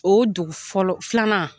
O dugu fɔlɔ filanan